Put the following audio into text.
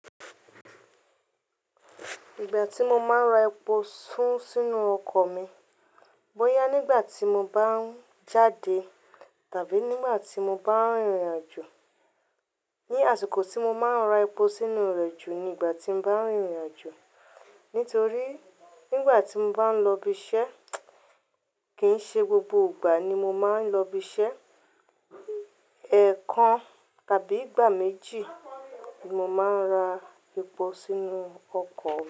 Ìgbà tí mo máa ń ra epo sú sínú ọkọ̀ mi, bóyá nígbà tí mo bá ń jáde tàbí nígbà tí mo bá ń rìnrìn àjò. Ni àsìkò tí mo máa ń ra epo sínú rẹ̀ jù ni ìgbà tí mo bá ń rìnrìn àjò. Nítorí nígbà tí mo bá ń lọ ibi iṣẹ́, kì í ṣe gbogbo ìgbà ni mo máa ń lọ ibi iṣẹ́. Ẹ̀ẹ̀kan tàbí ìgbà méjì ni mo máa ń ra epo sínú ọkọ̀.